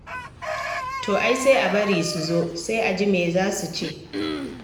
To ai sai a bari su zo, sai a ji me za su ce.